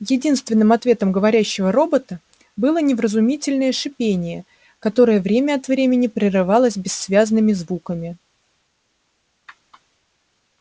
единственным ответом говорящего робота было невразумительное шипение которое время от времени прерывалось бессвязными звуками